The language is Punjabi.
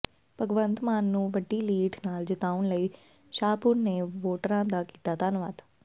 ਭਗਵੰਤ ਮਾਨ ਨੂੰ ਵੱਡੀ ਲੀਡ ਨਾਲ ਜਿਤਾਉਣ ਲਈ ਸ਼ਾਹਪੁਰ ਨੇ ਵੋਟਰਾਂ ਦਾ ਕੀਤਾ ਧੰਨਵਾਦ